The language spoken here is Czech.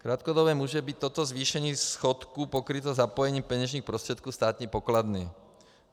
Krátkodobě může být toto zvýšení schodku pokryto zapojením peněžních prostředků státní pokladny.